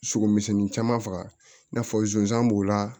Sogo misɛnnin caman faga i n'a fɔ zonzan b'o la